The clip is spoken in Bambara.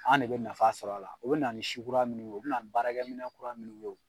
An de bɛ nafa sɔr'a la, u bɛ na ni si kura minnu yo, u bɛna ni baarakɛminɛn kura minnu ye o